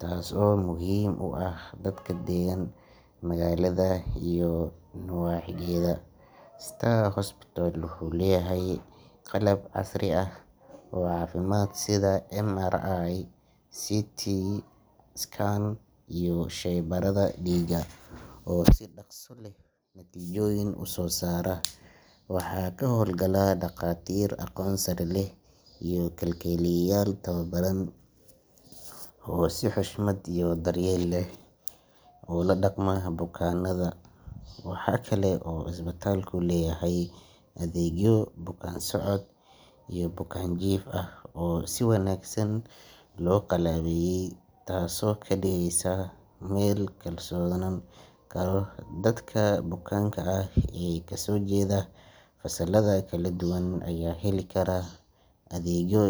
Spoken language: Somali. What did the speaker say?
taas oo muhiim u ah dadka degan magaalada iyo nawaaxigeeda. Star Hospital wuxuu leeyahay qalab casri ah oo caafimaad sida MRI, CT scan, iyo shaybaarrada dhiigga oo si dhakhso leh natiijooyin u soo saara. Waxaa ka howlgala dhakhaatiir aqoon sare leh iyo kalkaaliyeyaal tababaran oo si xushmad iyo daryeel leh ula dhaqma bukaannada. Waxa kale oo isbitaalku leyahay adeegyo bukaan-socod ah iyo bukaan-jiif ah oo si wanaagsan loo qalabeeyey, taasoo ka dhigaysa meel lagu kalsoonaan karo. Dadka bukaanka ah ee kasoo jeeda fasalada kala duwan ayaa heli kara adeegyo.